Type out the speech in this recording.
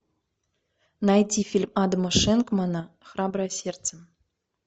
найти фильм адама шенкмана храброе сердце